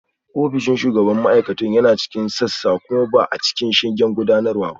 Ofishin shugaban ma'aikatun yana cikin sassan kuma ba a cikin shingen gudanarwa ba